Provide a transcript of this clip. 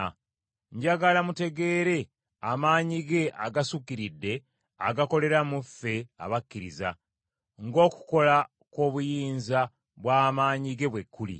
Njagala mutegeere amaanyi ge agasukkiridde agakolera mu ffe abakkiriza, ng’okukola kw’obuyinza bw’amaanyi ge bwe kuli,